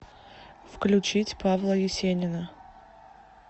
включить павла есенина